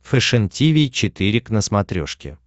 фэшен тиви четыре к на смотрешке